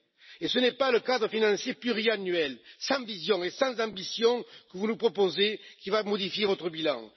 Et ce n'est pas le cadre financier pluriannuel, sans vision et sans ambition, que vous nous proposez, qui va modifier votre bilan.